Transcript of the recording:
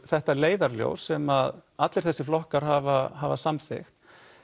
þetta leiðarljós sem allir þessir flokkar hafa hafa samþykkt